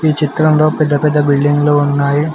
ఈ చిత్రంలో పెద్ద పెద్ద బిల్డింగ్ లు ఉన్నాయి.